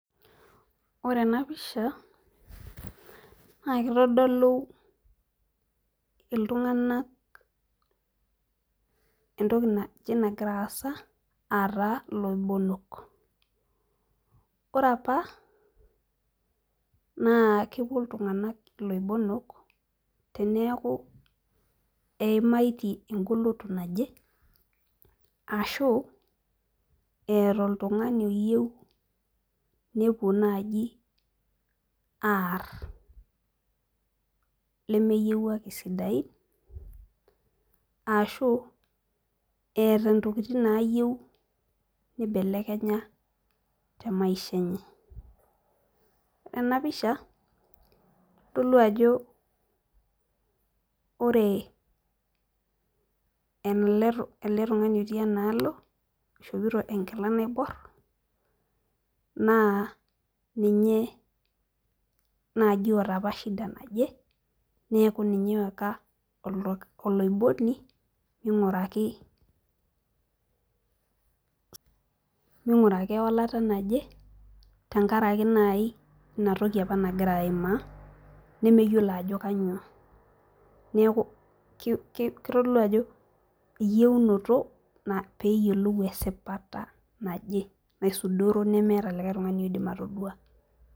Ore ena pisha naa kitodolu iltunganak entoki naji nagira aasa aa taa iloibonok. ore apa naa kepuo iltunganak iloibonok teneeku eimaitie egoloto naje ashu eeta oltungani oyieu nepuo naaji aar, lemeyiewuaki sidain, ashu eeta ntokitin naayieu nibelekenya te maisha enye. ore ena pisha, kitodolu ajo ore ele tungani otii enaalo oishopito enkila naibor naa ninye naaji oota apa shida naje, neeku ninye oyaka oloiboni araki .minguraki ewalata naje tenkaraki naaji inatoki apa nagira aimaa, nemeyiolo ajo kainyioo. neeku kitodolu ajo eyieunoto pee eyiolou esipata naje naisudoro nemeeta likae tungani oidim atodua